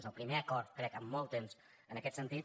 és el primer acord crec en molt temps en aquest sentit